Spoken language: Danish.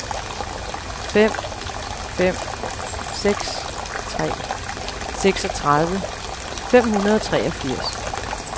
fem fem seks tre seksogtredive fem hundrede og treogfirs